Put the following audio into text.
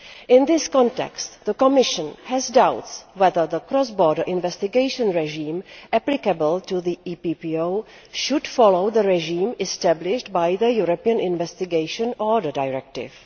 In this context, the Commission has doubts whether the cross border investigation regime applicable to the EPPO should follow the regime established by the European Investigation Order Directive.